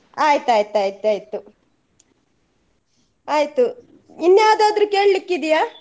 ಆಯ್ತ್ ಆಯ್ತ್ ಆಯ್ತ್ ಆಯ್ತು ಆಯ್ತು ಇನ್ ಯಾವ್ದಾದ್ರು ಕೇಲಿಕ್ಕೆ ಇದೆಯಾ?